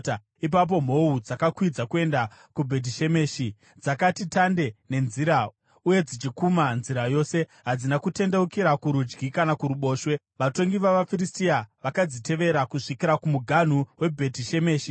Ipapo mhou dzakakwidza kuenda Bhetishemeshi, dzakati tande nenzira uye dzichikuma nzira yose; hadzina kutendeukira kurudyi kana kuruboshwe. Vatongi vavaFiristia vakadzitevera kusvikira kumuganhu weBhetishemeshi.